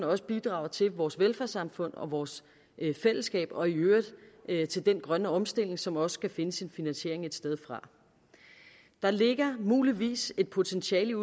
også bidrager til vores velfærdssamfund og vores fællesskab og i øvrigt til den grønne omstilling som også skal finde sin finansiering et sted fra der ligger muligvis et potentiale